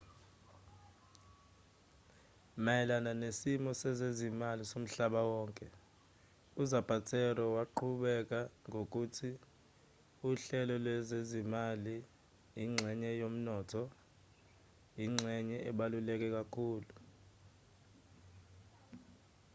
mayelana nesimo sezezimali somhlaba wonke uzapatero waqhubeka ngokuthi uhlelo lwezezimali ingxenye yomnotho ingxenye ebaluleke kakhulu